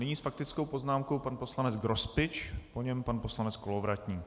Nyní s faktickou poznámkou pan poslanec Grospič, po něm pan poslanec Kolovratník.